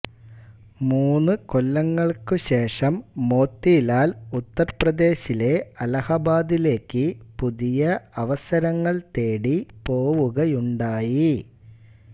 മൂന്നുകൊല്ലങ്ങൾക്കുശേഷം മോത്തിലാൽ ഉത്തർപ്രദേശിലെ അലഹബാദിലേക്ക് പുതിയ അവസരങ്ങൾ തേടി പോവുകയുണ്ടായി